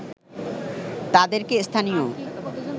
তাদেরকে স্থানীয়